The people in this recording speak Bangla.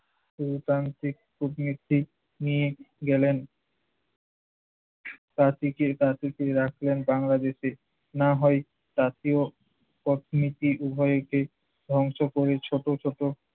গণতান্ত্রিক কূটনীতিক নিয়ে গেলেন তাঁতীকে। তাঁতীকে রাখলেন বাংলাদেশে। না হয় তাঁতী ও অর্থনীতি উভয়কে ধ্বংস করে ছোট ছোট